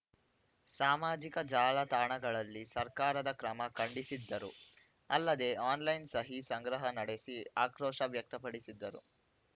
ಸಾಮಾಜಿಕ ಜಾಲತಾಣಗಳಲ್ಲಿ ಸರ್ಕಾರದ ಕ್ರಮ ಖಂಡಿಸಿದ್ದರು ಅಲ್ಲದೆ ಆನ್‌ಲೈನ್‌ ಸಹಿ ಸಂಗ್ರಹ ನಡೆಸಿ ಆಕ್ರೋಶ ವ್ಯಕ್ತಪಡಿಸಿದ್ದರು